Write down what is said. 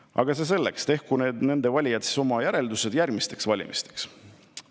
Aga see selleks, tehku nende valijad siis oma järeldused järgmisteks valimisteks.